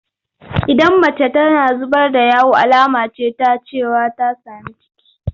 Idan mace tana zubar da yawu alama ce ta cewa ta sami ciki.